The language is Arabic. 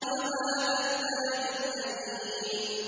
وَهَٰذَا الْبَلَدِ الْأَمِينِ